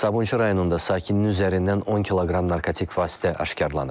Sabunçu rayonunda sakinin üzərindən 10 kq narkotik vasitə aşkarlanıb.